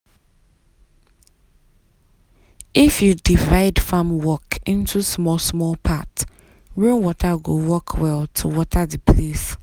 if you divide farm into small-small part rainwater go work well to water the place.